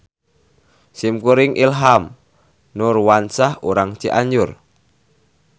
Simkuring Ilham Nurwansah urang Cianjur.